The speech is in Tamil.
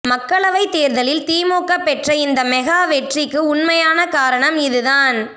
மக்களவை தேர்தலில் திமுக பெற்ற இந்த மெகா வெற்றிக்கு உண்மையான காரணம் இது தான்